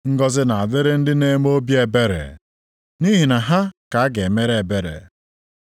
Ngọzị na-adịrị ndị na-eme obi ebere, nʼihi na ha ka a ga-emere ebere.